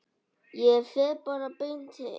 Ég fer bara beint heim.